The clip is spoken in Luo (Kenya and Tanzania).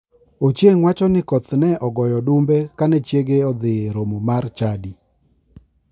Ochieng wacho ni ne koth ogoyo odumbe kane chiege odhi e romo mar chadi.